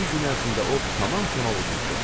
İki gün ərzində o tamamilə uduzdu.